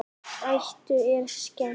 Eddu er skemmt.